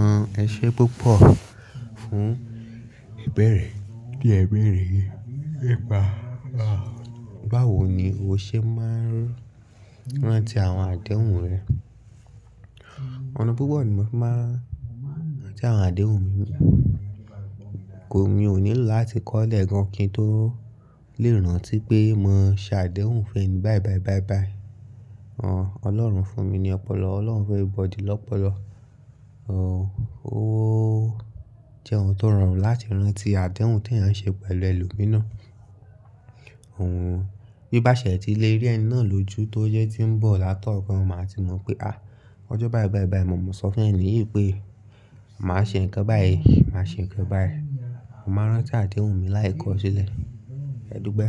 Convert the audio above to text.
Àwọn iṣẹ púpọ̀ fún ìbẹ̀rẹ̀ ti e bere yi Báwo ni o ṣe máa ń rántí àwọn àdéhùn rẹ? Ọ̀nà púpọ̀ ni mo fi máa ń rántí àwọn àdéhùn mi. Kò mio nílò láti kọ́lẹ̀ gan-an kí n tó lè rántí pé mo ṣàdéhùn fún ẹni bayi bayi bayi Ọlọ́run fún mi ní ọpọlọ, Ọlọ́run fún everybody lọ́pọlọ. Ó jẹ́ ohun tó rọrùn láti rántí àdéhùn tí èèyàn ṣe pẹ̀lú ẹlòmíràn. Bí bá ṣe ẹ ti le rí ẹni náà lójú tó yẹ tí ń bọ̀ látọ̀ọ̀kan, o máa ti mọ̀ pé, "à, ọjọ́ bayi bayi bayi, mo mọ̀ sọ́fun eníyì pé màá ṣe ǹkan báyìí, màá ṣe ǹkan báyìí." Mo ma nrántí àdéhùn mi láì kọ̀ ọ́ sílẹ̀. A dupe,